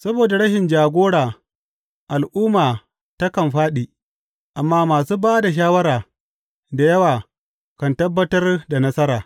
Saboda rashin jagora al’umma takan fāɗi, amma masu ba da shawara da yawa kan tabbatar da nasara.